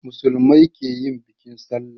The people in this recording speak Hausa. Musulmai su ke yin bikin sallah